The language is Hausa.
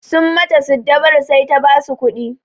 Sun mata siddabaru sai ta basu kuɗi.